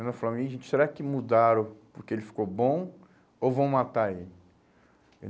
Ainda falara, será que mudaram porque ele ficou bom ou vão matar ele?